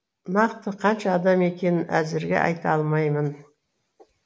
нақты қанша адам екенін әзірге айта алмаймын